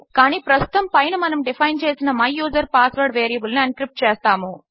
కానీ ప్రస్తుతము పైన మనము డిఫైన్ చేసిన మై యూజర్ పాస్వర్డ్ వేరియబుల్ ను ఎన్క్రిప్ట్ చేస్తాము